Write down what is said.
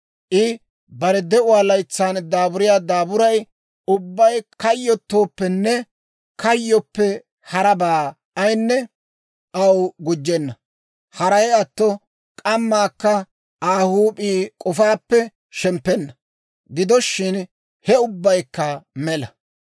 I bare de'uwaa laytsan daaburiyaa daaburay ubbay kayyottooppenne kayyoppe harabaa ayinne aw gujjenna; haray atto k'ammakka Aa huup'ii k'ofaappe shemppenna; gido shin, he ubbaykka mela.